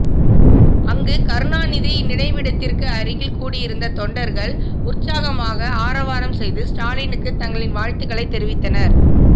அங்கு கருணாநிதி நினைவிடத்துக்கு அருகில் கூடியிருந்த தொண்டர்கள் உற்சாகமாக ஆரவாரம் செய்து ஸ்டாலினுக்கு தங்களின் வாழ்த்துகளைத் தெரிவித்தனர்